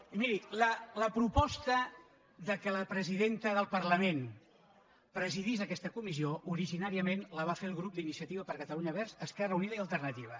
miri la proposta que la presidenta del parlament pre·sidís aquesta comissió originàriament la va fer el grup d’iniciativa per catalunya verds · esquerra unida i alternativa